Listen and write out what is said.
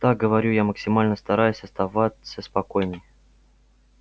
так говорю я максимально стараясь оставаться спокойной